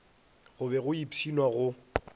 go be go ipshinwa go